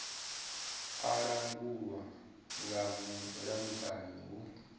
a langulwa nga mulamukanyi hu